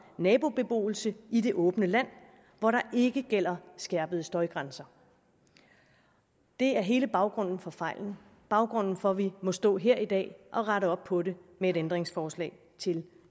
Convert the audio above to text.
nabobeboelse i det åbne land hvor der ikke gælder skærpede støjgrænser det er hele baggrunden for fejlen baggrunden for at vi må stå her i dag og rette op på det med et ændringsforslag til